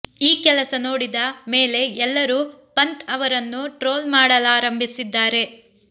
ಈ ಕೆಲಸ ನೋಡಿದ ಮೇಲೆ ಎಲ್ಲರೂ ಪಂತ್ ಅವರನ್ನು ಟ್ರೋಲ್ ಮಾಡಲಾರಂಭಿಸಿದ್ದಾರೆ